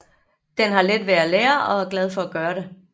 Den har let ved at lære og er glad for at gøre det